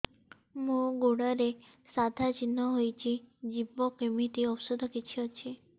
ମୋ ଗୁଡ଼ରେ ସାଧା ଚିହ୍ନ ହେଇଚି ଯିବ କେମିତି ଔଷଧ କିଛି ଅଛି